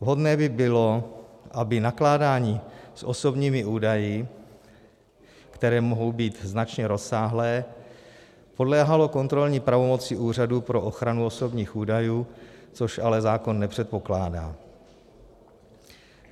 Vhodné by bylo, aby nakládání s osobními údaji, které mohou být značně rozsáhlé, podléhalo kontrolní pravomoci Úřadu pro ochranu osobních údajů, což ale zákon nepředpokládá.